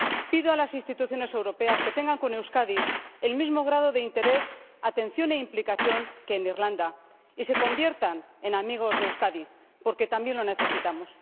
Pido a las instituciones europeas que tengan con Euskadi el mismo grado de interés, atención e implicación que en Irlanda del Norte y se conviertan en amigos de Euskadi, porque también lo necesitamos.